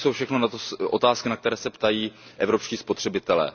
To jsou všechno otázky, na které se ptají evropští spotřebitelé.